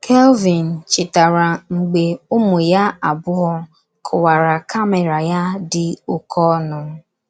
Kelvin chetara mgbe ụmụ ya abụọ kụwara kamera ya dị oké ọnụ.